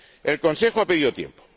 El Consejo ha pedido tiempo.